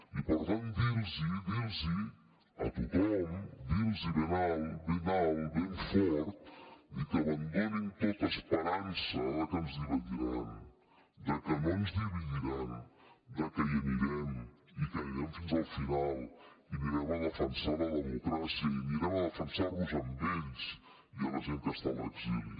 i per tant dir los dir los a tothom dir los ben alt ben fort que abandonin tota esperança de que ens dividiran que no ens dividiran que hi anirem i que hi anirem fins al final i anirem a defensar la democràcia i anirem a defensar los a ells i a la gent que està a l’exili